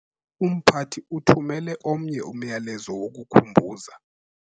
Umphathi uthumele omnye umyalezo wokukhumbuza